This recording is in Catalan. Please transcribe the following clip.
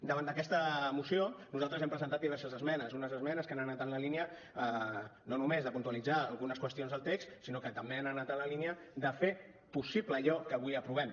davant d’aquesta moció nosaltres hem presentat diverses esmenes unes esmenes que han anat en la línia no només de puntualitzar algunes qüestions del text sinó que també han anat en la línia de fer possible allò que avui aprovem